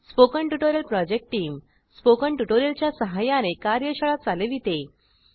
spoken tutorial project team spoken tutorial च्या सहाय्याने कार्यशाळा चालविते